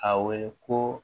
A wele ko